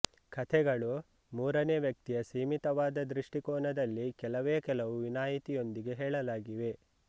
ಕಥೆಗಳು ಮೂರನೆ ವ್ಯಕ್ತಿಯ ಸೀಮಿತವಾದ ದೃಷ್ಟಿಕೋನದಲ್ಲಿ ಕೆಲವೇ ಕೆಲವು ವಿನಾಯಿತಿಯೊಂದಿಗೆ ಹೇಳಲಾಗಿವೆ